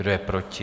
Kdo je proti?